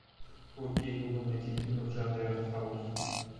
окей гугл найти фильмы в жанре артхаус